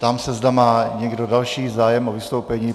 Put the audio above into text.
Ptám se, zda má někdo další zájem o vystoupení.